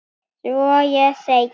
Svo ég segi